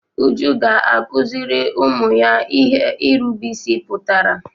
Uju ga-akụzịrị ụmụ ya ihe irube isi pụtara.